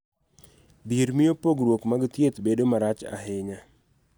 Dhier miyo pogruok mag thieth bedo marach ahinya.